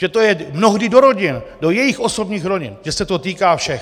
Že je to mnohdy do rodin, do jejich osobních rodin, že se to týká všech.